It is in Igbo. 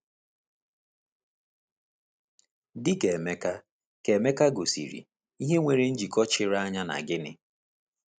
Dị ka Emeka ka Emeka gosiri, ìhè nwere njikọ chiri anya na gịnị?